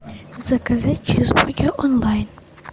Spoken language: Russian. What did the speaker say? заказать чизбургер онлайн